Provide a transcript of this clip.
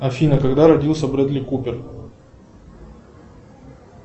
афина когда родился брэдли купер